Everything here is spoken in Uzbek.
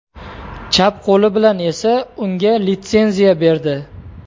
Chap qo‘li bilan esa unga litsenziya berdi.